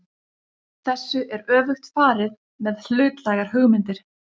Þessu er öfugt farið með hlutlægar hugmyndir.